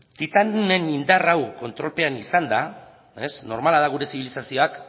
titanen indar hau kontrolpean izanda normala da gure zibilizazioak